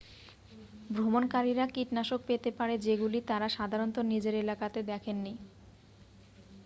ভ্রমণকারীরা কীটনাশক পেতে পারে যেগুলি তারা সাধারণত নিজের এলাকাতে দেখেননি